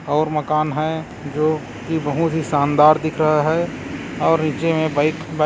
और मकान है जो की बहुत ही शानदार दिख रहा है और नीचे में बाइक --